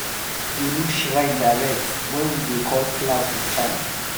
dey look shrine direct when we dey call cloud with chant.